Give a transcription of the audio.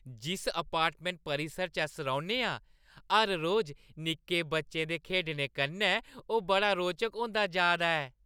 जिस अपार्टमैंट परिसर च अस रौह्‌न्ने आं, हर रोज निक्के बच्चें दे खेढने कन्नै ओह् बड़ा रोचक होंदा जा दा ऐ।